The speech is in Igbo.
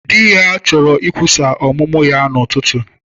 Di ya chọrọ ikwusa ọmụmụ ya n'ụtụtụ.